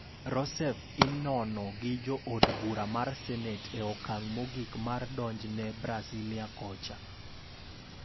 Rousseff inono gi jo od bura mar senet e okang' mogik mar donjne Brasilia kocha.